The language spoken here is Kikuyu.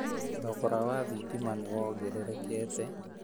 Thogora wa thitima nĩ wongererekete